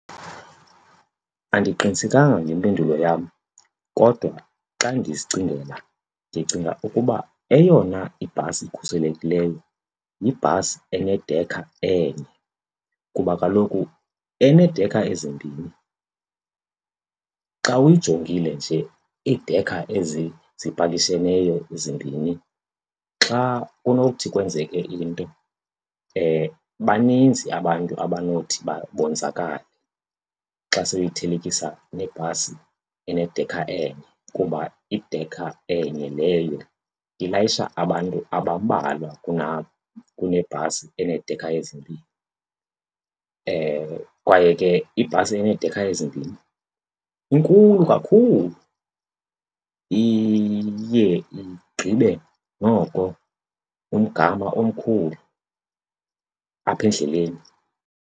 Andiqinisekanga ngempendulo yam kodwa xa ndizicingela, ndicinga ukuba eyona ibhasi ikhuselekileyo yibhasi enedekha enye. Kuba kaloku enedekha ezimbini xa uyijongile nje, idekha ezi zipakisheneyo zimbini, xa kunothi kwenzeke into baninzi abantu abanothi bonzakale xa sowuyithelekisa nebhasi enedekha enye. Kuba idekha enye leyo ilayisha abantu abambalwa kunebhasi eneedekha ezimbini. Kwaye ke ibhasi eneedekha ezimbini inkulu kakhulu, iye igqibe noko umgama omkhulu apha endleleni.